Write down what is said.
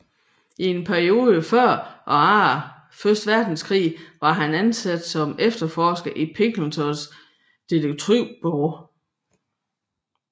I et par perioder før og efter første verdenskrig var han ansat som efterforsker i Pinkertons detektivbureau